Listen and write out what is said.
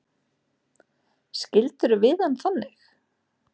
Skildirðu við hann þannig?